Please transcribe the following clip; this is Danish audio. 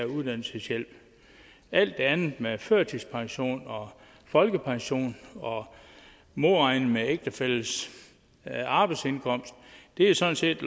uddannelseshjælp alt det andet med førtidspension folkepension og modregning i ægtefællens arbejdsindkomst er sådan set